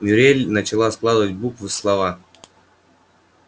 мюриель начала складывать буквы в слова